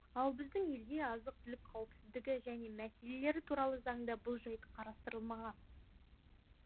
ал біздің елде азық түлік қауіпсіздігі және мәселелері туралы заңда бұл жайт қарастырылмаған